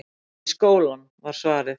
Í skólann, var svarið.